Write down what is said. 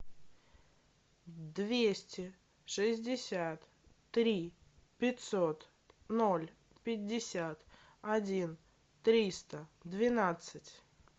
двести шестьдесят три пятьсот ноль пятьдесят один триста двенадцать